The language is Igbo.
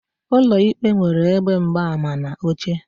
Ụlọ ikpe nwere ebe mgbaama na oche